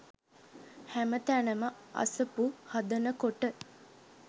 හැම තැනම අසපු හදනකොට